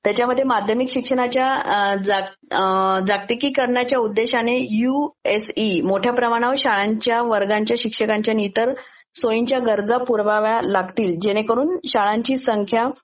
त्याच्यामध्ये माध्यमिक शिक्षणाच्या जागतिकीकरणाच्या उद्देश्याने यूएसई मोठ्या प्रमाणावर शाळांच्या वर्गांच्या शिक्षकांच्या नी इतर गरजा पुरवाव्या लागतील जेणेकरून शाळांची संख्या